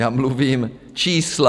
Já mluvím čísla.